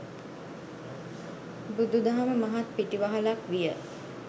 බුදුදහම මහත් පිටිවහලක් විය.